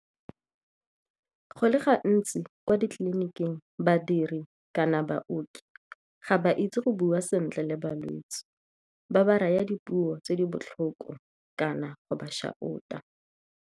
Go le gantsi kwa ditleliniking badiri kana baoki ga ba itse go bua sentle le balwetse, ba ba raya dipuo tse di botlhoko kana go ba shout-a.